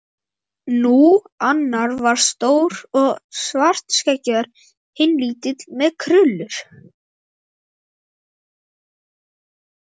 Nú. annar var stór og svartskeggjaður. hinn lítill með krullur.